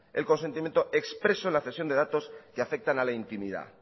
el consentimiento expreso en la cesión de datos que afectan a la intimidad